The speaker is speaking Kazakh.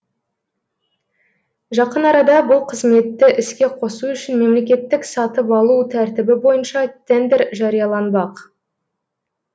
жақын арада бұл қызметті іске қосу үшін мемлекеттік сатып алу тәртібі бойынша тендер жарияланбақ